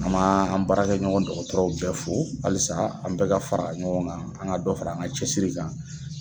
An m' an an baarakɛɲɔgɔn dɔkɔtɔrɔw bɛɛ fo halisa an bɛɛ ka fara ɲɔgɔn gan, an ka dɔ fara an ga cɛsiri kan